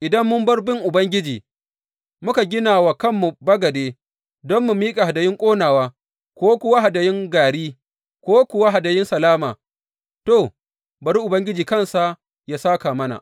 Idan mun bar bin Ubangiji, muka gina wa kanmu bagade don mu miƙa hadayun ƙonawa, ko kuwa hadayun gari, ko kuwa hadayun salama, to, bari Ubangiji kansa ya sāka mana.